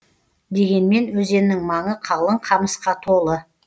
дегенмен өзеннің маңы қалың қамысқа толы